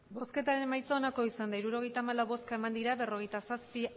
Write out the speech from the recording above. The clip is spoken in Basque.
emandako botoak hirurogeita hamalau bai berrogeita zazpi